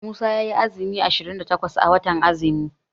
Musa yayi azumi ashirin da takwas a watan azumi.